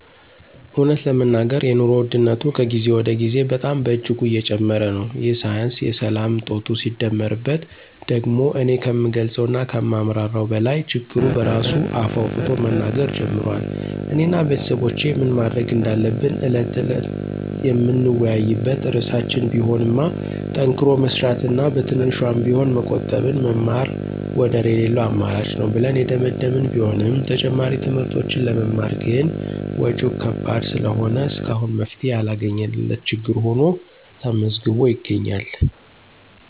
እውነት ለመናገር የኑሮ ውድነቱ ከጊዜ ወደ ጊዜ በጣም በእጅጉ እየጨመረ ነው፤ ይህ ሳያንስ የሰላም እጦቱ ሲደመርበት ደግሞ እኔ ከምገልፀው እና ከማብራራው በላይ ችግሩ በራሱ አፍ አውጥቶ መናገር ጀምሯል። እኔ እና ቤተሰቦቼ ምን ማድረግ እንዳለብን ዕለት ተዕለት የምንወያይበት ርዕሳችን ቢሆንማ ጠንክሮ መስራት እና በትንሿም ቢሆን መቆጠብና መማር ወደር የለለው አማራጭ ነው ብለን የደመደመን ቢሆንም ተጨማሪ ትምህርቶችን ለመማር ግን ወጭው ከባድ ስለሆነ እስካሁን መፍትሔ ያላገኘንለት ችግር ሁኖ ተመዝግቦ ይገኛል።